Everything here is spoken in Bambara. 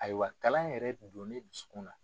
Ayiwa kalan in yɛrɛ donnen i dusukun na.